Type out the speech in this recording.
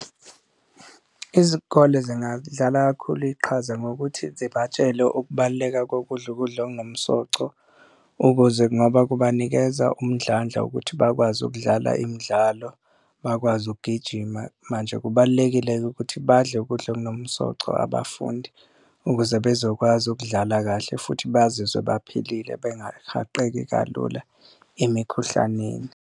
Izikole zingadlala kakhulu iqhaza ngokuthi zibatshele ukubaluleka kokudla ukudla okunomsoco, ukuze kungoba kubanikeza umdlandla ukuthi bakwazi ukudlala imidlalo, bakwazi ukugijima. Manje kubalulekile-ke ukuthi badle ukudla okunomsoco abafundi ukuze bezokwazi ukudlala kahle futhi bazizwe baphilile, bengahaqeki kalula emikhuhlaneni.